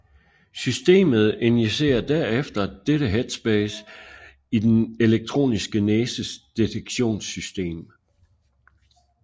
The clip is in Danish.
Systemet injicerer derefter dette headspace i den elektroniske næses detektionssystem